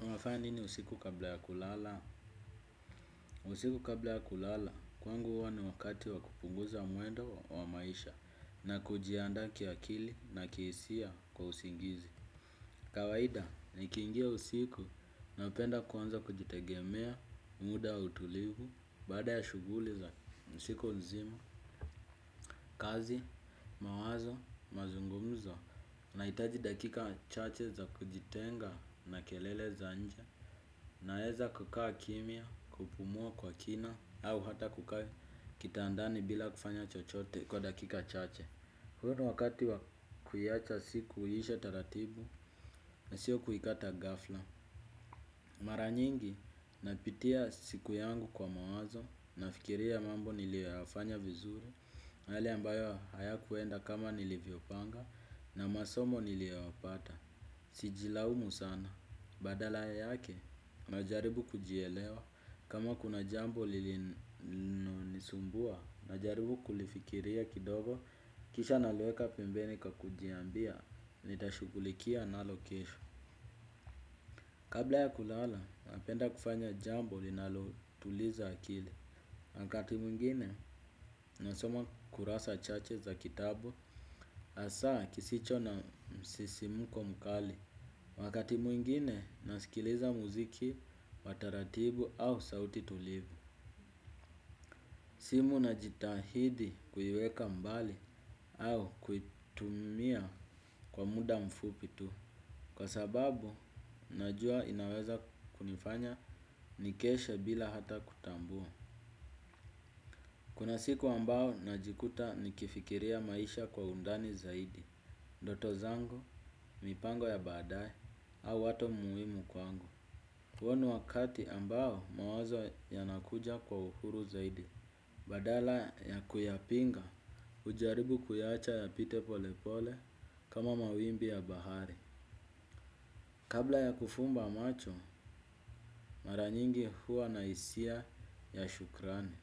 Unafanya nini usiku kabla ya kulala. Usiku kabla ya kulala kwangu huwa ni wakati wa kupunguza mwendo wa maisha na kujiandaa kiakili na kihisia kwa usingizi. Kawaida, nikingia usiku napenda kuanza kujitegemea, muda utulivu, baada ya shughuli za siku nzima, kazi, mawazo, mazungumzo, na hitaji dakika chache za kujitenga na kelele za nje. Naeza kukaa kimya, kupumua kwa kina au hata kukaa kitandani bila kufanya chochote kwa dakika chache. Huo ni wakati wakuiacha siki iishe taratibu na sio kuikata ghafla. Mara nyingi napitia siku yangu kwa mawazo. Nafikiria mambo niliyo yafanya vizuri hali ambayo haya kuenda kama nilivyopanga na masomo niliyoyata. Sijilaumu sana, badala ya yake, najaribu kujielewa, kama kuna jambo li lino nisumbua, najaribu kulifikiria kidogo, kisha naliweka pembeni kwa kujiambia, nitashughukulikia nalo kesho. Kabla ya kulala, napenda kufanya jambo linalotuliza akili. Wakati mwingine, nasoma kurasa chache za kitabu, hasa kisicho na msisimko mkali. Wakati mwingine nasikiliza muziki, wa taratibu au sauti tulivu. Simu najitahidi kuiweka mbali au kuitumia kwa muda mfupi tu. Kwa sababu, najua inaweza kunifanya nikeshe bila hata kutambua. Kuna siku ambayo najikuta nikifikiria maisha kwa undani zaidi. Ndoto zangu, mipango ya baadaye au watu muhimu kwangu. Hua ni wakati ambao mawazo yanakuja kwa uhuru zaidi. Badala ya kuyapinga. hujaribu kuyaacha yapite pole pole kama mawimbi ya bahari. Kabla ya kufumba macho, mara nyingi huwa na hisia ya shukrani.